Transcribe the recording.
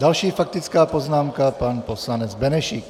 Další faktická poznámka, pan poslanec Benešík.